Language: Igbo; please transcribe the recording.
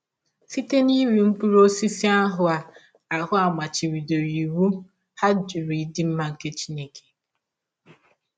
Site n’iri mkpụrụ ọsisi ahụ a ahụ a machibidọrọ iwụ, ha jụrụ ịdị mma nke Chineke.